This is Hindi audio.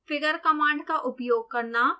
figure कमांड का उपयोग करना